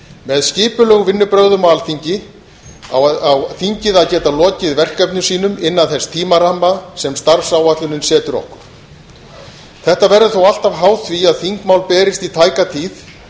með skipulegum vinnubrögðum á alþingi á þingið að geta lokið verkefnum sínum innan þess tímaramma sem starfsáætlunin setur okkur þetta verður þó alltaf háð því að þingmál berist í tæka tíð